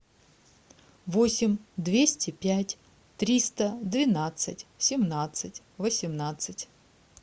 восемь двести пять триста двенадцать семнадцать восемнадцать